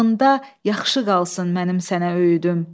Qulağında yaxşı qalsın mənim sənə öyüdüm.